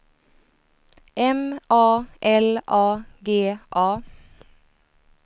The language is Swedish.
M A L A G A